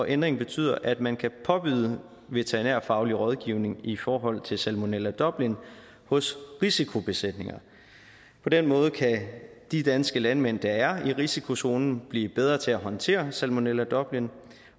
ændringen betyder at man kan påbyde veterinærfaglig rådgivning i forhold til salmonella dublin hos risikobesætninger på den måde kan de danske landmænd der er i risikozonen blive bedre til at håndtere salmonella dublin